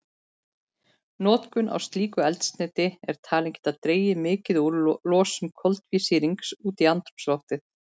Notkun á slíku eldsneyti er talin geta dregið mikið úr losun koltvísýrings út í andrúmsloftið.